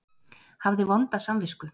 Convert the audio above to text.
Hafði vonda samvisku.